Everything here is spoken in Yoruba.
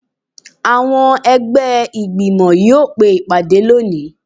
Awọn ẹgbẹ igbimọ yóò pe ìpadé loní